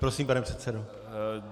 Prosím, pane předsedo.